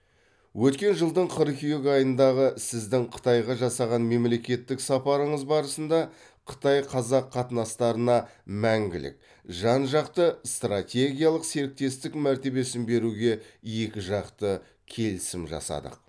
өткен жылдың қыркүйек айындағы сіздің қытайға жасаған мемлекеттік сапарыңыз барысында қытай қазақ қатынастарына мәңгілік жан жақты стратегиялық серіктестік мәртебесін беруге екіжақты келісім жасадық